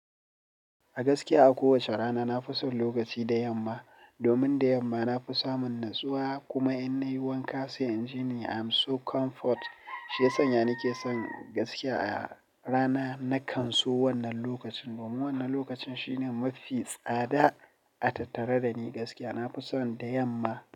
A gaskiya a kowace rana na fi son lokaci da yamma. Domin da yamma na fi samun natsuwa kuma in na yi wanka sai in ji ni I'm so comfort. Shi ya sanya na ke son gaskiya a rana na kan so wannan lokacin. Domin wannan lokacin shine mafi tsada a tattare da ni gaskiya. Na fi son da yamma.